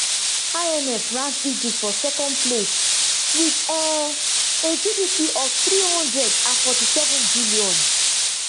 imf rank egypt for second place wit um a gdp of three hundred and forty-sevenbn